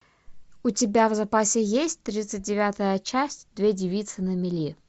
у тебя в запасе есть тридцать девятая часть две девицы на мели